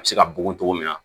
A bɛ se ka bugɔ cogo min na